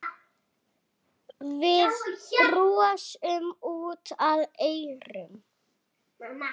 Við brosum út að eyrum.